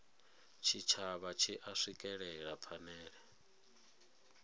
tshitshavha tshi a swikelela phanele